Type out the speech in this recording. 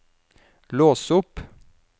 lås opp